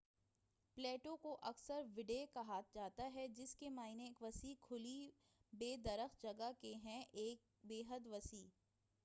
Plato کو اکثر وڈڈے کہا جاتا ہے ک جس کے معنی ایک وسیع کھلی بے درخت جگہ کے ہیں ایک بے حد وسیع